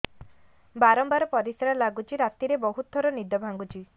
ବାରମ୍ବାର ପରିଶ୍ରା ଲାଗୁଚି ରାତିରେ ବହୁତ ଥର ନିଦ ଭାଙ୍ଗୁଛି